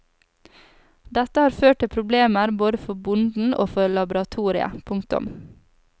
Dette har ført til problemer både for bonden og for laboratoriet. punktum